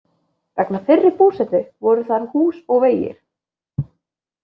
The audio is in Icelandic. Vegna fyrri búsetu voru þar hús og vegir.